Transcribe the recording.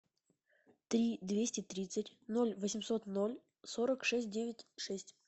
три двести тридцать ноль восемьсот ноль сорок шесть девять шесть